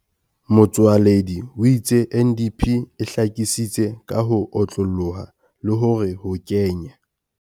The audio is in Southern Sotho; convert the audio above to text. Motsoaledi o itse NDP e hlakisitse ka ho otlolloha le hore ho kenya.